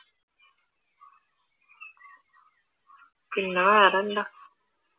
പിന്നെ വേറെന്താ?